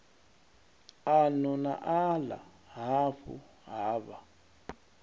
ano na aḽa hafhu havha